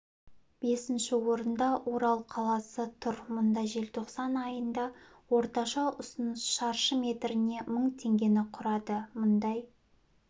бесінші орында орал қаласы тұр мұнда желтоқсан айында орташа ұсыныс шаршы метріне мың теңгені құрады мұндай